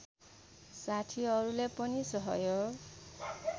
साथीहरूले पनि सहयोग